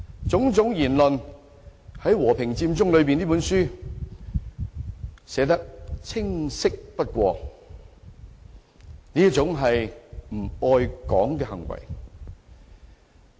種種言論在《和平佔中理念書》中寫得再清晰不過，這是一種不愛港的行為。